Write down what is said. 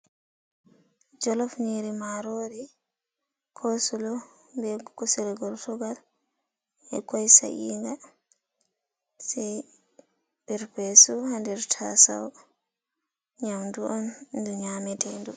Jolof nyiri marori, cosulo be kusel gertugal be koi sayinga sai perpe sup ha der tasau. Nyamdu on ndu nyamete ɗum.